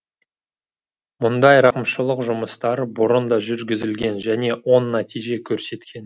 мұндай рақымшылық жұмыстары бұрын да жүргізілген және оң нәтиже көрсеткен